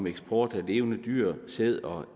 eksport af levende dyr sæd og